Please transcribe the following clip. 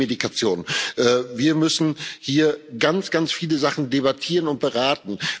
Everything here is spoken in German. Und die Medikation Wir müssen hier ganz, ganz viele Sachen debattieren und beraten.